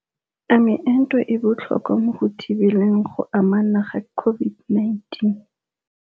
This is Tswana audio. A meento e botlhokwa mo go thibeleng go anama ga COVID-19?